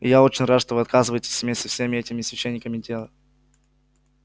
и я очень рад что вы отказываетесь иметь со всеми этими священниками дело